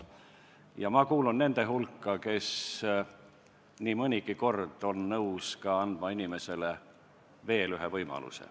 Mina kuulun nende hulka, kes nii mõnigi kord on nõus andma inimesele veel ühe võimaluse.